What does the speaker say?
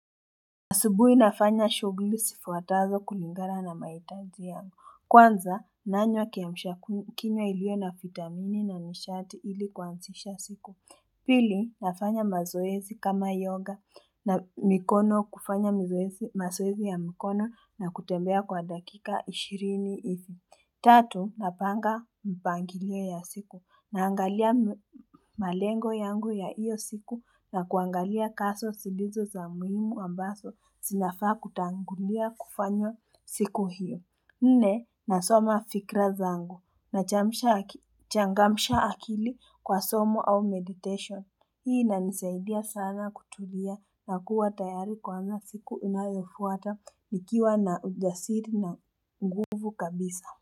Asubuhi nafanya shughuli zifuatazo kulingana na mahitaji yangu. Kwanza, nanywa kiamshakininywa iliyo na vitamini na mishati ili kuanzisha siku. Pili, nafanya mazoezi kama yoga na mikono kufanya mazoezi ya mikono na kutembea kwa dakika 20 ivi. Tatu, napanga mpangilio ya siku. Naangalia malengo yangu ya hiyo siku na kuangalia kazi silizo za muhimu ambazo zinafaa kutangulia kufanywa siku hiyo. Nne, nasoma fikra zangu. Nachangamsha akili kwa somo au meditation. Hii inanisaidia sana kutulia na kuwa tayari kuanza siku inayofuata nikiwa na ujasiri na nguvu kabisa.